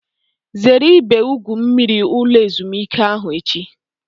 Zere ebe igwu mmiri ulo ezimuike ahu echi!